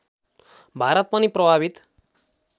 भारत पनि प्रभावित